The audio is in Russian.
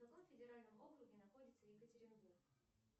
в каком федеральном округе находится екатеринбург